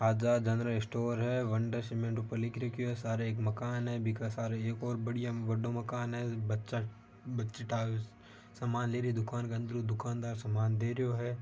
आजाद general store है Wonder Cement ऊपर लिख रखो है सारे एक मकान है बिक सार एक और बढ़िया बड़ो मकान है बच्चा-बच्ची सामान लेरी दुकान के अंदर हु दुकान दार सामान देरो है।